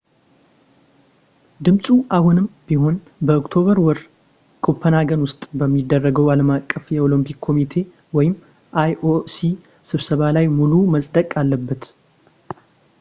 ድምፁ አሁንም ቢሆን በኦክቶበር ወር ኮፐንሃገን ውስጥ በሚደረገው ዓለም አቀፍ የኦለምፒክ ኮሚቴ ioc ስብሰባ ላይ ሙሉው መፅደቅ አለበት